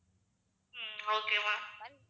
um okay ma'am